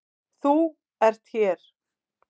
ÞÚ ERT hér.